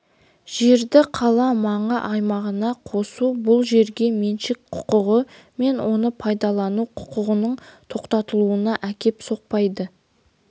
жерді қала маңы аймағына қосу бұл жерге меншік құқығы мен оны пайдалану құқығының тоқтатылуына әкеп соқпайды